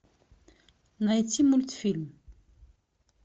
найти мультфильм